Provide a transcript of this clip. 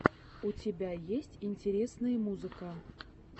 у тебя есть интересные музыка